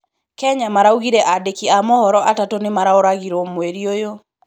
Kenya maraũgire andĩki a mohoro atatũ nĩmaroragirwo mweri ũyũ